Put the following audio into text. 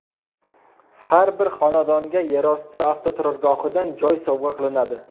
Har bir xonadonga yerosti avtoturargohidan joy sovg‘a qilinadi.